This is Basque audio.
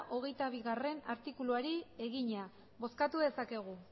hogeita bigarrena artikuluari egina bozkatu dezakegu